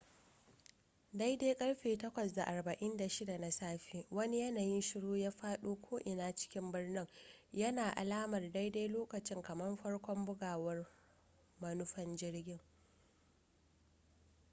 daidai ƙarfe 8:46 na safe wani yanayin shuru ya faɗo ko'ina cikin birnin yana alamar daidai lokacin kamar farkon bugawar manufan jirgin